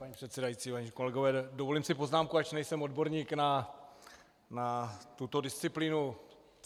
Paní předsedající, vážení kolegové, dovolím si poznámku, ač nejsem odborník na tuto disciplínu.